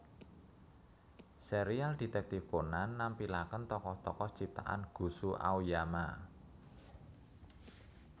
Serial Detektif Conan nampilakèn tokoh tokoh ciptaan Gosho Aoyama